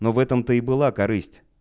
но в этом то и была корысть